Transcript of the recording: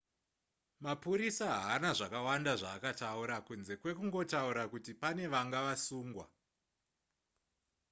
mapurisa haana zvakawanda zvaakataura kunze kwekungotaura kuti pane vanga vasungwa